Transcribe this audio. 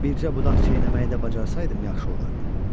Bircə budaq çeynəməyi də bacarsaydım yaxşı olardı.